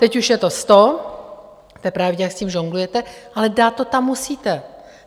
Teď už je to sto, to je pravda, jak s tím žonglujete, ale dát to tam musíte.